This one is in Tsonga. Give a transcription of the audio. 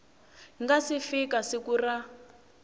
nga si fika siku ra